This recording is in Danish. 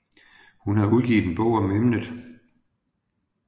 Hun har udgivet en bog om emnet